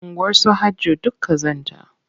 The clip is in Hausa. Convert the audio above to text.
Unguwarsu Hajjo duk ƙazanta.